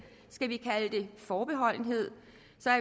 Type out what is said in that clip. forbehold